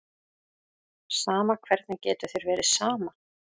Sama, hvernig getur þér verið sama?